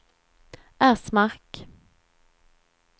Ersmark